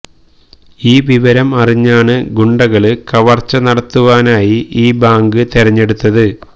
ഈ വിവരം അറിഞ്ഞാണ് ഗുണ്ടകള് കവര്ച്ച നടത്തുവാനായി ഈ ബാങ്ക് തിരഞ്ഞെടുത്തത്